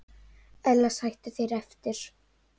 Ella sætu þeir eftir.